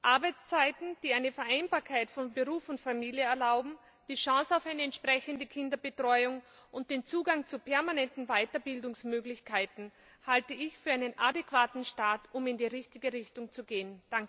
Arbeitszeiten, die eine Vereinbarkeit von Beruf und Familie erlauben, die Chance auf eine entsprechende Kinderbetreuung und den Zugang zu permanenten Weiterbildungsmöglichkeiten halte ich für einen adäquaten Start, um in die richtige Richtung zu gehen.